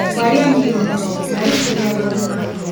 Twarĩ anini mũno, na rĩu tũrĩ andũ agima.